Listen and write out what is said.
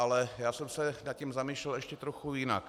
Ale já jsem se nad tím zamýšlel ještě trochu jinak.